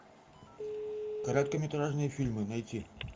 короткометражные фильмы найти